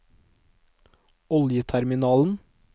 oljeterminalen